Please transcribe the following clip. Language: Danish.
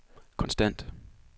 konstant